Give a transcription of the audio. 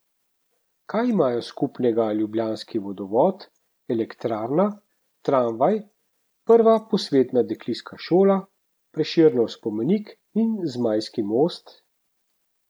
Kaj imajo skupnega ljubljanski vodovod, elektrarna, tramvaj, prva posvetna dekliška šola, Prešernov spomenik in Zmajski most?